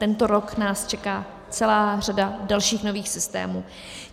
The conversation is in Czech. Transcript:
Tento rok nás čeká celá řada dalších nových systémů.